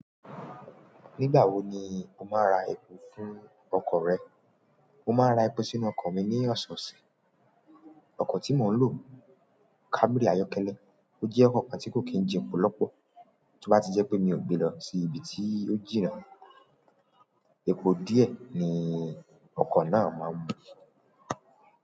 Nígbà wo ni o máa ń ra epo fún ọkọ̀ rẹ? Mo máa ń ra epo sínú ọkọ̀ mi ní ọ̀sosẹ̀. Oko ti mo n lo camry ayọ́kẹ́lẹ́. Ó jẹ́ ọkọ̀ kan tí kò kí ń jepo lọ́pọ̀. To bá jẹ́ pé mi ò gbé lọ sí ibi tí ó jìnnà, epo díẹ̀ ni ọkọ̀ náà máa ń mu.